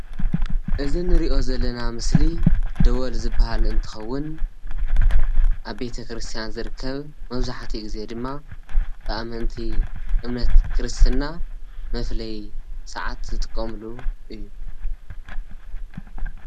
እዚ እንሪኦ ዘለና ስእሊ ደወል ዝበሃል እንትኸው ኣብ ቤተ ክርስትያን ዝርከብ መብዛሕትኡ ግዜ ድማ ብኣመንቲ እምነት ክርስትና መፍለዪ ሰዓት ዝጥቀምሉ እዩ፡፡